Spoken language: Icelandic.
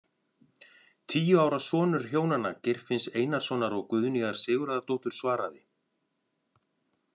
Tíu ára sonur hjónanna Geirfinns Einarssonar og Guðnýjar Sigurðardóttur svaraði.